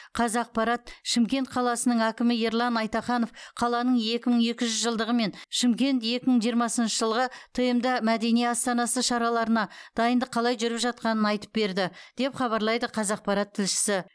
қазақпарат шымкент қаласының әкімі ерлан айтаханов қаланың екі мың екі жүз жылдығы мен шымкент екі мың жиырмасыншы жылғы тмд мәдени астанасы шараларына дайындық қалай жүріп жатқанын айтып берді деп хабарлайды қазақпарат тілшісі